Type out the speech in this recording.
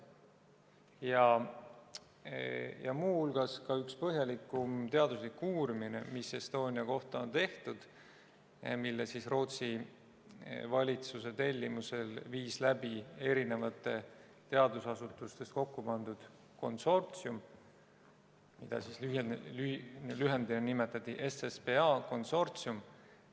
Ja muu hulgas on tehtud Estonia kohta ka üks põhjalikum teaduslik uurimine, mille Rootsi valitsuse tellimusel viis läbi eri teadusasutustest kokku pandud konsortsium, mida lühendina nimetati SSPA konsortsiumiks.